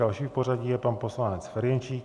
Další v pořadí je pan poslanec Ferjenčík.